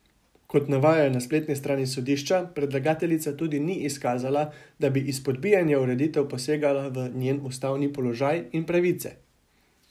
Kot navajajo na spletni strani sodišča, predlagateljica tudi ni izkazala, da bi izpodbijana ureditev posegala v njen ustavni položaj in pravice.